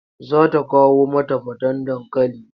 Za ta kawo mata faten dankali.